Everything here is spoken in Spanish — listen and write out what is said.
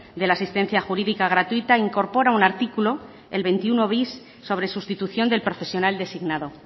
de la asistencia jurídica gratuita incorpora un artículo el veintiuno bis sobre sustitución del profesional designado